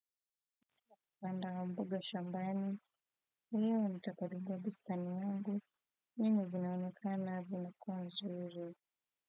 Banda wa mboga shambani, leo nitakagua bustani yangu nyingi zinaonekana zimekuwa nzuri.